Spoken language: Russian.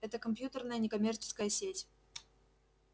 это компьютерная некоммерческая сеть